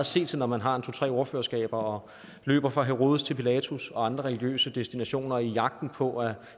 se til når man har to tre ordførerskaber og løber fra herodes til pilatus og andre religiøse destinationer i jagten på at